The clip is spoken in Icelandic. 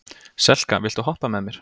Selka, viltu hoppa með mér?